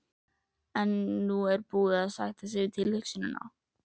En nú er hún búin að sætta sig við tilhugsunina.